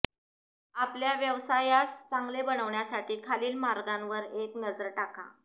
आपल्या व्यवसायास चांगले बनविण्यासाठी खालील मार्गांवर एक नजर टाका